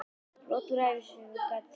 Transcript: Brot úr ævisögunni gat verið á þessa leið